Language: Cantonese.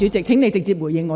請你先直接回應我。